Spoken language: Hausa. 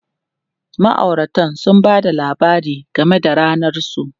Ma'auratan sun ba da labari game da ranar su.